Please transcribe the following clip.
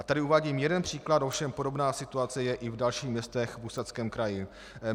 A tady uvádím jeden příklad, ovšem podobná situace je i v dalších městech v Ústeckém kraji.